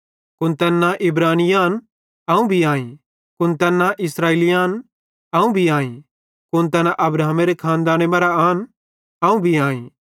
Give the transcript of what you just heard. कुन तैन्ना इब्रानी आन अवं भी आईं कुन तैन्ना इस्राएली आन अवं भी आईं कुन तैना अब्राहमेरे खानदाने मरां आन अवं भी आईं